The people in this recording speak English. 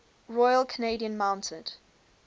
royal canadian mounted